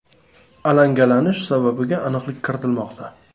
Alangalanish sababiga aniqlik kiritilmoqda.